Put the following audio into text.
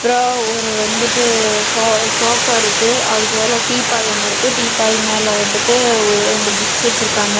அப்றம் ஒரு வந்துட்டு ஷோ ஷோஃபா இருக்கு. அதுக்கு பக்கத்துல டீப்பாய் ஒன்னு இருக்கு. டீப்பாய் மேல வந்துட்டு ஒரு ரெண்டு புக்ஸ் வெச்சுருக்காங்க.